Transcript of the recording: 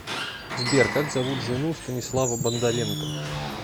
сбер как зовут жену станислава бондаренко